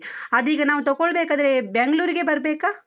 ಅದೀಗ ನಾವು ತಕೊಳ್ಬೇಕಾದ್ರೆ, Bangalore ಗೆ ಬರ್ಬೇಕಾ?